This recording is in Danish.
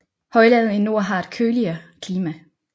Højlandet i nord har et køligere klima